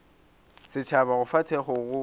setšhaba go fa thekgo go